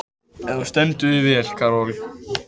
Þú stendur þig vel, Karol!